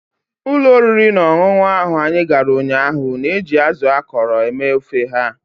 Ụlọ oriri na ọṅụṅụ ahụ anyị gara ụnyaahụ na-eji azụ akọrọ eme ofe ha.